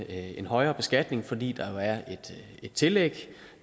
en højere beskatning fordi der jo er et tillæg